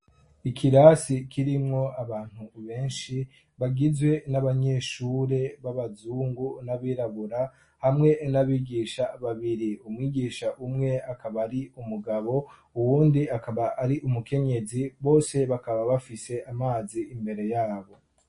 Ikirasi kirimwo abantu benshi bagizwe n'abanyeshure b'abazungu n'abirabura hamwe n'abigisha babiri. Umwigisha umwe akaba ari umugabo uwundi akaba ari umukenyezi bose bakaba bafise amazi imbere yabo.